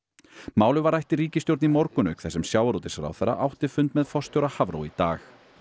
málið var rætt í ríkisstjórn í morgun auk þess sem sjávarútvegsráðherra átti fund með forstjóra Hafró í dag